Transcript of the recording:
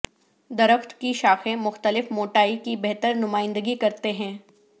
درخت کی شاخیں مختلف موٹائی کی بہتر نمائندگی کرتے ہیں